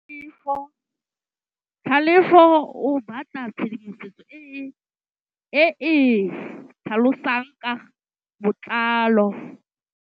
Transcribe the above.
Tlhalefô o batla tshedimosetsô e e tlhalosang ka botlalô.